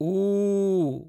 ऊ